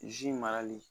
Zi marali